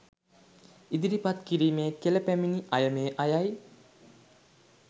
ඉදිරිපත් කිරීමේ කෙළ පැමිණි අය මේ අයයි.